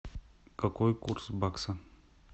какой курс бакса